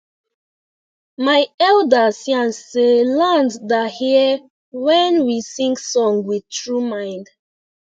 my elders yan say land da hear when we sing song with tru mind